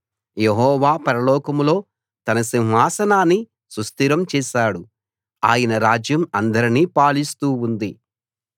యెహోవా పరలోకంలో తన సింహాసనాన్ని సుస్థిరం చేశాడు ఆయన రాజ్యం అందరినీ పాలిస్తూ ఉంది